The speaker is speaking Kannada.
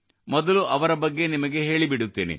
ಮೊದಲು ಅವರ ಬಗ್ಗೆ ನಿಮಗೆ ಹೇಳಿಬಿಡುತ್ತೇನೆ